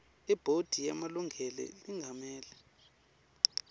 ibhodi yemalunga lengamele